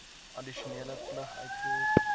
addisionele plig uitvoer